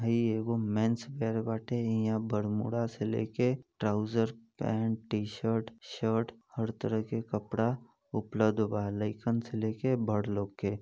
''हइ एगो mens wear वाटे इहाँ बरमूडा से लेके trouser pant T shirt shirt हर तरह के कपड़ा उपलब्ध वा लइकन से लेकर बड़ लोग के।''